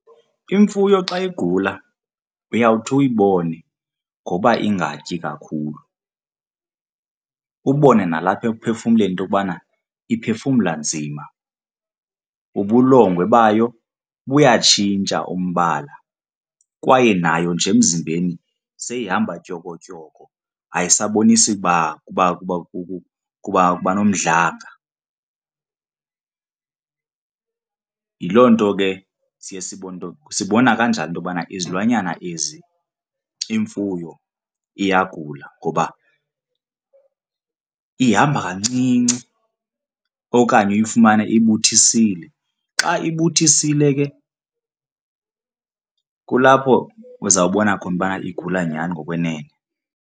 Imfuyo xa igula uyawuthi uyibone ngoba ingatyi kakhulu, ubone nalapha ekuphefumleni into yokubana iphefumla nzima. Ubulongwe bayo buyatshintsha umbala kwaye nayo nje emzimbeni seyihamba tyokotyoko ayisabonisi kuba nomdlanga. Yiloo nto ke siye sibone, sibona kanjalo into yokubana izilwanyana ezi, imfuyo iyagula ngoba ihamba kancinci okanye uyifumane ibuthisile, xa ibuthisile ke kulapho uzawubona khona ubana igula nyhani ngokwenene.